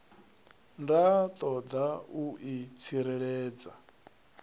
nda ṱoḓa u i tsireledza